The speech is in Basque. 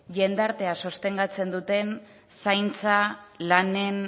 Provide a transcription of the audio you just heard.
jendartea sostengatzen duten